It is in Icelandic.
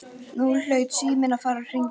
Nú hlaut síminn að fara að hringja.